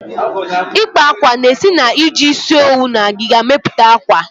Ikpa akwa na esi na-iji isi owu na agịga mepụta akwa.